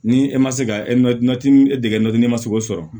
Ni e ma se ka e degeli ma se k'o sɔrɔ